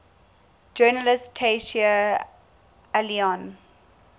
journalist tayseer allouni